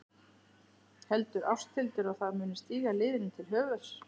Heldur Ásthildur að það muni stíga liðinu til höfuðs?